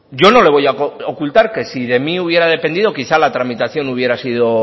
yo no le voy a ocultar que si de mí hubiera dependido quizá la tramitación hubiera sido